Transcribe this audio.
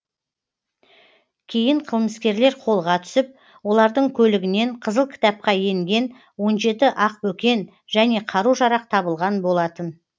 кейін қылмыскерлер қолға түсіп олардың көлігінен қызыл кітапқа енген он жеті ақбөкен және қару жарақ табылған болатын